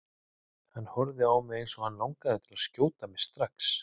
Hann horfir á mig eins og hann langi til að skjóta mig strax.